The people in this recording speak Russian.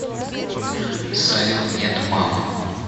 салют нет мам